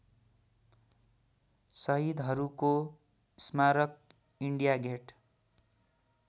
शहीदहरूको स्मारक इंडियागेट